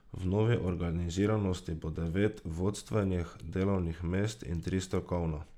V novi organiziranosti bo devet vodstvenih delovnih mest in tri strokovna.